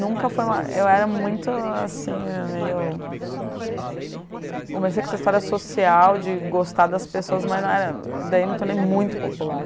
Nunca fui, eu era muito assim meio... Comecei com essa história social de gostar das pessoas, mas não era, daí não me tornei muito popular.